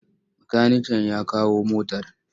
Makaniken ya kawo motar?